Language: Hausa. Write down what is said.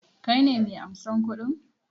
Ka ne mai ansan kuɗi?